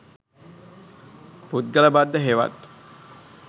පුද්ගල බද්ධ හෙවත්